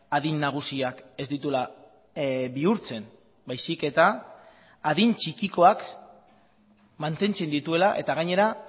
adin nagusiak ez dituela bihurtzen baizik eta adin txikikoak mantentzen dituela eta gainera